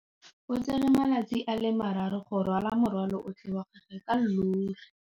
O tsere malatsi a le marraro go rwala morwalo otlhe wa gagwe ka llori.